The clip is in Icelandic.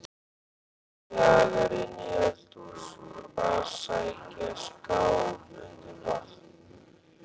Hún kjagar inn í eldhús að sækja skál undir vatn.